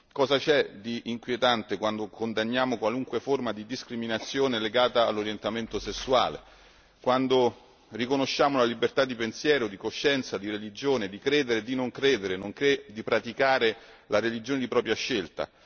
Cosa c'è di inquietante quando condanniamo qualunque forma di discriminazione legata all'orientamento sessuale, quando riconosciamo la libertà di pensiero, di coscienza, di religione, di credere e di non credere, nonché di praticare la religione di propria scelta?